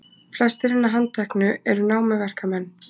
Flestir hinna handteknu eru námuverkamenn